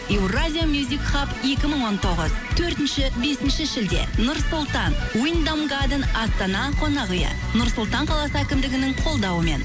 евразия екі мың он тоғыз төртінші бесінші шілде нұр сұлтан астана қонақ үйі нұр сұлтан қаласы әкімдігінің қолдауымен